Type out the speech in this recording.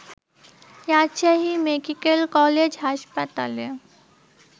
Rajshahi medical college হাসপাতালে